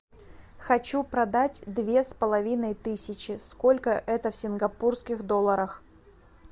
хочу продать две с половиной тысячи сколько это в сингапурских долларах